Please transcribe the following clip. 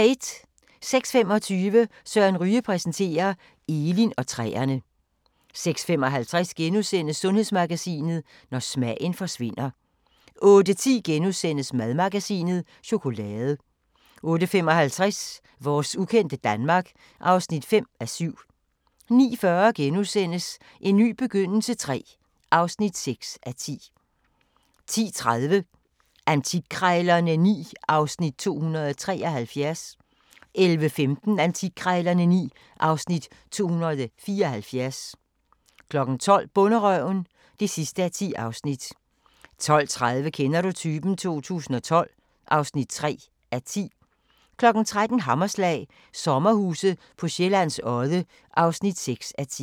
06:25: Søren Ryge præsenterer – Elin og træerne 06:55: Sundhedsmagasinet: Når smagen forsvinder * 08:10: Madmagasinet: Chokolade * 08:55: Vores ukendte Danmark (5:7) 09:40: En ny begyndelse III (6:10)* 10:30: Antikkrejlerne XI (Afs. 273) 11:15: Antikkrejlerne XI (Afs. 274) 12:00: Bonderøven (10:10) 12:30: Kender du typen? 2012 (3:10) 13:00: Hammerslag - sommerhuse på Sjællands Odde (6:10)